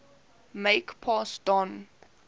make pass don